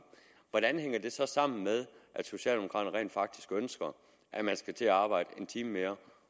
hvordan hænger det så sammen med at socialdemokraterne rent faktisk ønsker at man skal til at arbejde en time mere